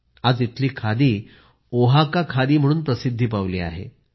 आज इथली खादी ओहाका खादी म्हणून प्रसिद्धी पावली आहे